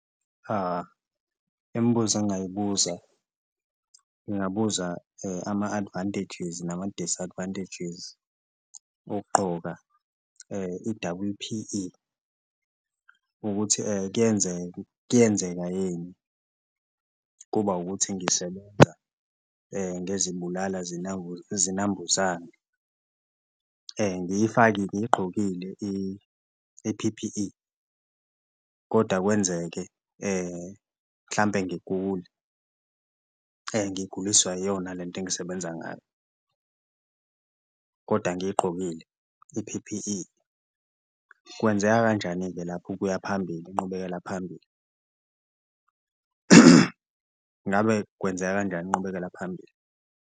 Imibuzo engayibuza ngabuza ama-advantages nama-disadvantages okugqoka i-double P_E ukuthi kuyenzeka kuyenzeka yini kuba ukuthi ngisebenza ngezibulala zinambuzane ngiyifakile ngiyigqokile i-P_P_E kodwa kwenzeke mhlampe ngigule ngiguliswa iyona lento engisebenza ngayo, koda ngiyigqokile i-P_P_E. Kwenzeka kanjani-ke lapho ukuya phambili, inqubekela phambili? Ngabe kwenzeka kanjani inqubekela phambili?